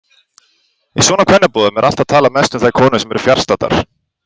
Í svona kvennaboðum er alltaf talað mest um þær konur sem eru fjarstaddar.